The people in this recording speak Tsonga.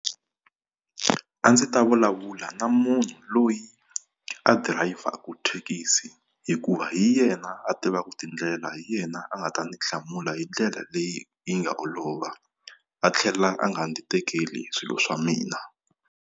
A ndzi ta vulavula na munhu loyi a dirayivhaku thekisi, hikuva hi yena a tivaka tindlela hi yena a nga ta ndzi hlamula hi ndlela leyi yi nga olova. A tlhela a nga ndzi tekeli swilo swa mina.